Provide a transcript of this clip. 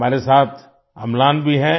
हमारे साथ अम्लान भी है